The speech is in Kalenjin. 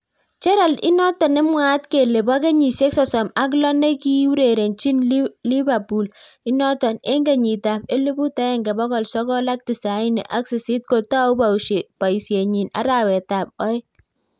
Gerad inotok nemwaat kelee poo kenyisiek sosom ak loo nekiurerenchii lipapool inotok eng kenyit ap eleput aenge pokol sokol ak tisaini ak sisit kotau boisiet nyiin arawet ab aoeng